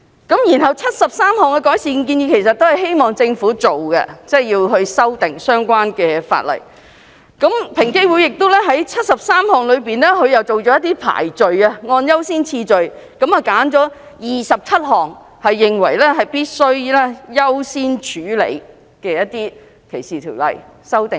該73項改善建議其實都是希望政府修訂相關法例；而在73項改善建議中，平機會亦按優先次序選出27項，認為必須優先處理，就相關的反歧視條例作出修訂。